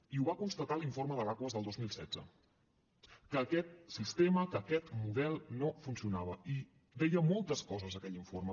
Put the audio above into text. i ho va constatar l’informe de l’aquas del dos mil setze que aquest sistema que aquest model no funcionava i deia moltes coses aquell informe